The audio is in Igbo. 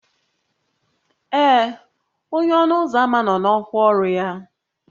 Ee, onye ọnụ ụzọ ámá nọ n'ọkwa ọrụ ya